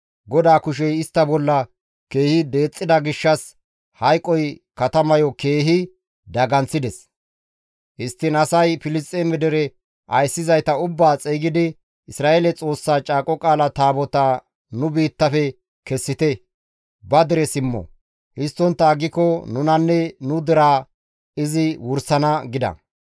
GODAA kushey istta bolla keehi deexxida gishshas hayqoy katamayo keehi daganththides; histtiin asay Filisxeeme dere ayssizayta ubbaa xeygidi, «Isra7eele Xoossa Caaqo Qaala Taabotaa nu biittafe kessite; ba dere simmo; histtontta aggiko nunanne nu deraa izi wursana» gida.